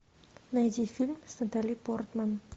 найди фильм с натали портман